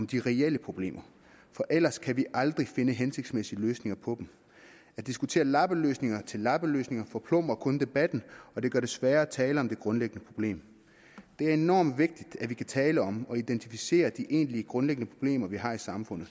de reelle problemer for ellers kan vi aldrig finde hensigtsmæssige løsninger på dem at diskutere lappeløsninger lappeløsninger forplumrer kun debatten og det gør det sværere at tale om det grundlæggende problem det er enormt vigtigt at vi kan tale om og identificere de egentlige grundlæggende problemer vi har i samfundet